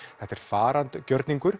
þetta er